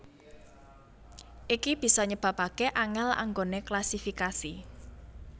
Iki bisa nyebabaké angèl anggoné klasifikasi